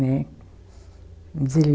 Né. Mas ele